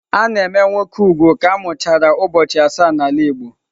A na-eme nwoke úgwù ka a mụchara ụbọchị asaa n'ala Igbo.